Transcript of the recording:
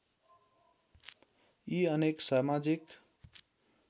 यी अनेक समाजिक